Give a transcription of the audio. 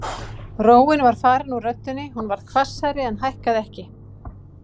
Róin var farin úr röddinni, hún varð hvassari en hækkaði ekki.